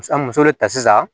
muso de ta sisan